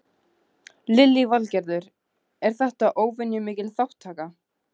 Lillý Valgerður: Er þetta óvenju mikil þátttaka?